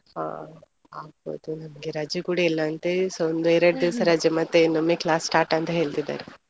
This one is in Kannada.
ಹಾ ಆಗ್ಬೋದು ನಮ್ಗೆ ರಜೆ ಕೂಡ ಇಲ್ಲ ಅಂತೆ , ಒಂದು ಎರಡು ದಿವಸ ರಜೆ ಮತ್ತೆ ಇನ್ನೊಮ್ಮೆ class start ಅಂತ ಹೇಳ್ತಿದ್ದಾರೆ.